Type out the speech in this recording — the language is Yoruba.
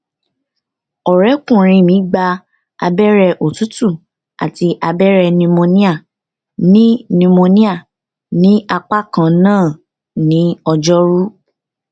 ọrẹkùnrin mi gba abẹrẹ òtútù àti abẹrẹ pneumonia ní pneumonia ní apá kan náà ní ọjọrú